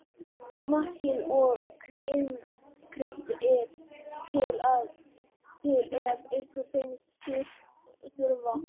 Smakkið og kryddið til ef ykkur finnst þurfa.